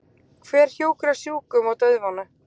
Hver hjúkrar sjúkum og dauðvona?